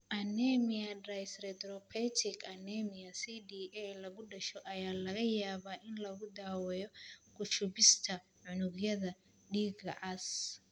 Anemia dyserythropoietic anemia (CDA) lagu dhasho ayaa laga yaabaa in lagu daaweeyo ku shubista unugyada dhiigga cas.